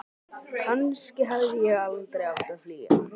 Kannski hefði ég aldrei átt að flýja.